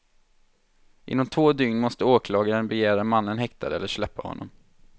Inom två dygn måste åklagaren begära mannen häktad eller släppa honom.